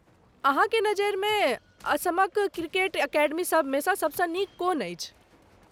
अहाँके नजरिमे असमक क्रिकेट अकेडमी सभमे सभसँ नीक कोन अछि?